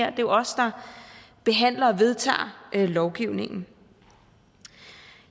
er jo os der behandler og vedtager lovgivningen